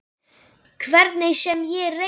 Hvernig sem ég reyni.